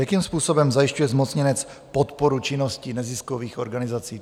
Jakým způsobem zajišťuje zmocněnec podporu činnosti neziskových organizací?